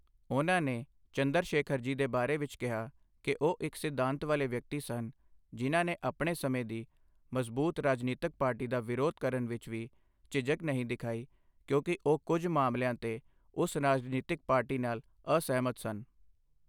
ਉਨ੍ਹਾਂ ਨੇ ਚੰਦਰ ਸ਼ੇਖਰ ਜੀ ਦੇ ਬਾਰੇ ਵਿੱਚ ਕਿਹਾ ਕਿ ਉਹ ਇੱਕ ਸਿਧਾਂਤ ਵਾਲੇ ਵਿਅਕਤੀ ਸਨ, ਜਿਨ੍ਹਾਂ ਨੇ ਆਪਣੇ ਸਮੇਂ ਦੀ ਮਜ਼ਬੂਤ ਰਾਜਨੀਤਿਕ ਪਾਰਟੀ ਦਾ ਵਿਰੋਧ ਕਰਨ ਵਿੱਚ ਵੀ ਝਿਝਕ ਨਹੀਂ ਦਿਖਾਈ, ਕਿਉਂਕਿ ਉਹ ਕੁੱਝ ਮਾਮਲਿਆਂ 'ਤੇ ਉਸ ਰਾਜਨੀਤਿਕ ਪਾਰਟੀ ਨਾਲ ਅਸਹਿਮਤ ਸਨ।